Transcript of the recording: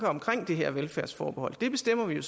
omkring det her velfærdsforbehold det bestemmer vi jo